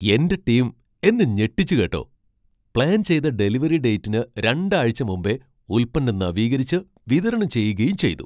എന്റെ ടീം എന്നെ ഞെട്ടിച്ചു, കേട്ടോ! പ്ലാൻ ചെയ്ത ഡെലിവറി ഡേറ്റിന് രണ്ടാഴ്ച മുമ്പേ ഉൽപ്പന്നം നവീകരിച്ച്, വിതരണം ചെയ്യുകയും ചെയ്തു.